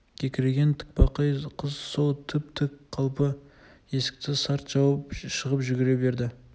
кекірейген тікбақай қыз сол тіп-тік қалпы есікті сарт жауып шығып жүре берді